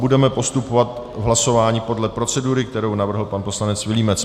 Budeme postupovat v hlasování podle procedury, kterou navrhl pan poslanec Vilímec.